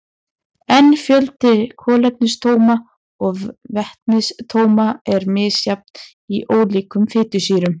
En fjöldi kolefnisatóma og vetnisatóma er misjafn í ólíkum fitusýrum.